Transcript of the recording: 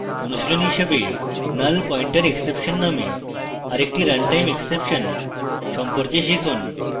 অনুশীলনী হিসাবে nullpointerexception নামে আরেকটি runtime exception সম্পর্কে শিখুন